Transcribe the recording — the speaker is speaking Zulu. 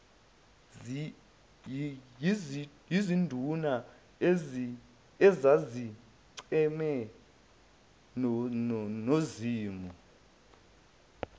yizinduna ezazicheme nozimu